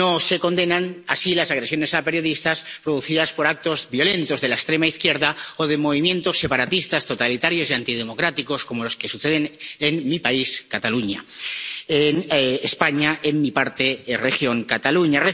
No se condenan así las agresiones a periodistas consecuencia de actos violentos de la extrema izquierda o de movimientos separatistas totalitarios y antidemocráticos, como los que suceden en mi país, Cataluña —en España, en mi región Cataluña—.